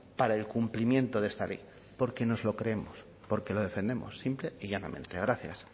para el cumplimiento de esta ley porque nos lo creemos porque lo defendemos simple y llanamente gracias